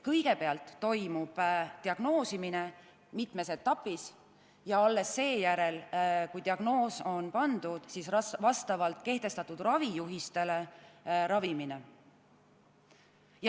Kõigepealt toimub diagnoosimine, seda tehakse mitmes etapis, ja alles seejärel, kui diagnoos on pandud, minnakse vastavalt kehtestatud ravijuhistele ravimisega edasi.